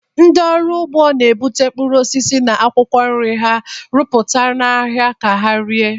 Ndị ọrụ ugbo na-ebute mkpụrụ osisi na akwụkwọ nri ha rụpụtara n'ahịa ka ha ree.